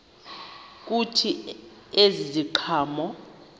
kuthi ezi ziqhamo